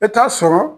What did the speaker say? I bɛ taa sɔrɔ